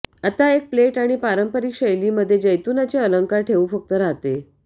आता एक प्लेट आणि पारंपारिक शैली मध्ये जैतुनाचे अलंकार ठेवू फक्त राहते